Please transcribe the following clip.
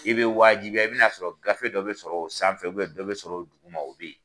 I bɛ wajibiya, i bɛn'a sɔrɔ gafe dɔ bɛ sɔrɔ o san fɛ, dɔ bɛ sɔrɔ o dugu ma o bɛ yen.